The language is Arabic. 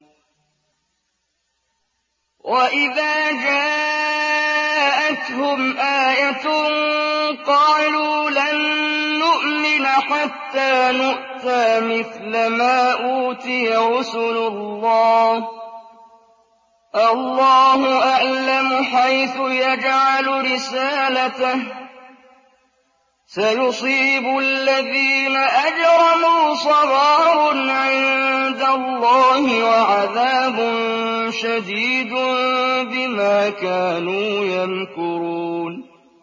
وَإِذَا جَاءَتْهُمْ آيَةٌ قَالُوا لَن نُّؤْمِنَ حَتَّىٰ نُؤْتَىٰ مِثْلَ مَا أُوتِيَ رُسُلُ اللَّهِ ۘ اللَّهُ أَعْلَمُ حَيْثُ يَجْعَلُ رِسَالَتَهُ ۗ سَيُصِيبُ الَّذِينَ أَجْرَمُوا صَغَارٌ عِندَ اللَّهِ وَعَذَابٌ شَدِيدٌ بِمَا كَانُوا يَمْكُرُونَ